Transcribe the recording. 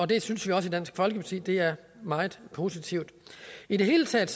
det synes vi også i dansk folkeparti er meget positivt i det hele taget